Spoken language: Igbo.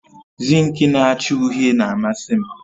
Zinki na acha uhie na-amasi m